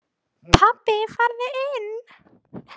Pabbi farðu inn!